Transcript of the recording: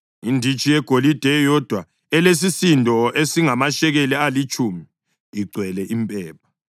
inditshi yegolide eyodwa elesisindo esingamashekeli alitshumi, igcwele impepha;